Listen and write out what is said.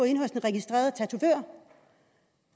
en registreret tatovør